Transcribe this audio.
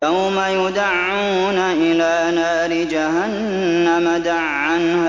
يَوْمَ يُدَعُّونَ إِلَىٰ نَارِ جَهَنَّمَ دَعًّا